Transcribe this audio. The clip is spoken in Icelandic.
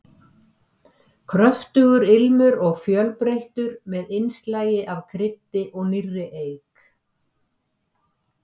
Kröftugur ilmur og fjölbreyttur, með innslagi af kryddi og nýrri eik.